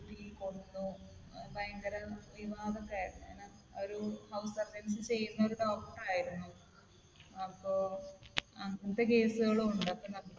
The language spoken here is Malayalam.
കൊന്നു. ഭയങ്കര വിവാദമൊക്കെ ആയിരുന്നു. ഇങ്ങനെ ഒരു house surgency ചെയ്യുന്ന ഒരു doctor ആയിരുന്നു. അപ്പൊ അങ്ങനത്തെ case കളും ഉണ്ട്. അപ്പൊ നമുക്ക്